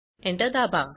Enter दाबा